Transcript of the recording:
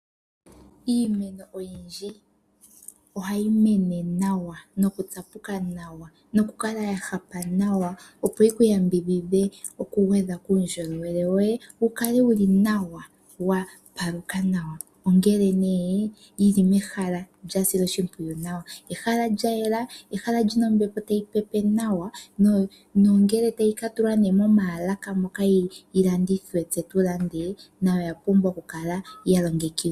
Iimeno oyindji ohayi mene nawa, nokutsapuka nawa nokukala ya hapuka nawa, opo yi ku yambidhidhe kuundjolowele woye wu kale wu li nawa wa paluka nawa. Ongele nee yi li mehala lya silwa oshimpwiyu nawa. Ehala lya yela lya ,ehala li na ombepo tayi pepe nawa nongele nee tayi ka tulwa moomaalaka moka yi landithwe tse tu lande nayo oya pumbwa yi kale ya longekidhwa.